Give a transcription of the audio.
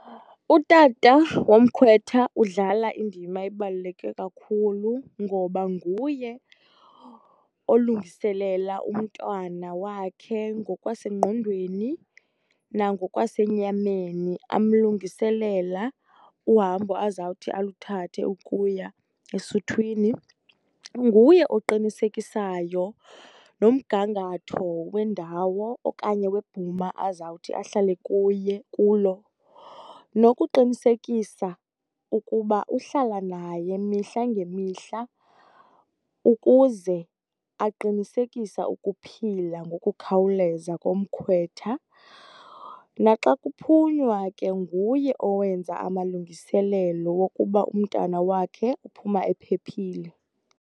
Utata womkhwetha udlala indima ebaluleke kakhulu ngoba nguye olungiselela umntwana wakhe ngokwasengqondweni nangokwasenyameni, amlungiselela uhambo azawuthi aluthathe ukuya esuthwini. Nguye oqinisekisayo nomgangatho wendawo okanye webhuma azawuthi ahlale kuye, kulo nokuqinisekisa ukuba uhlala naye mihla ngemihla ukuze aqinisekisa ukuphila ngokukhawuleza komkhwetha. Naxa kuphunywa ke nguye owenza amalungiselelo wokuba umntana wakhe uphuma ephephile.